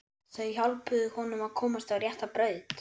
Þau hjálpuðu honum að komast á rétta braut.